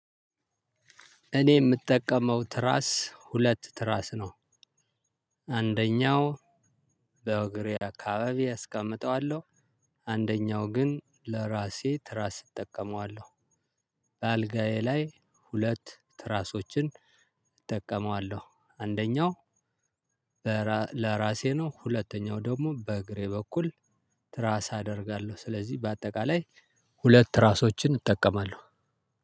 እኔ ምጠቀመው ትራስ ሁለት ትራስ ነው። አንደኛው በእግሬ አካባቢ አስቀምጠዋለሁ። አንደኛው ግን ለራሴ ትራስ እጠቀመዋለሁ እጠቀመዋለሁ። በአልጋዬ ላይ ሁለት ትራሶችን እጠቀመዋለሁ አንደኛው ለራሴ ነው። ሁለተኛው ደግሞ በእግሬ በኩል ትራስ አደርጋለሁ። ስለዚህ በአጠቃላይ ሁለት ትራሶችን እጠቀማለሁ።